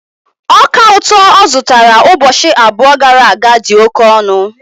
Ọka ụtọ ọ zụtara ụbọchị abụọ gara aga dị oke ọnụ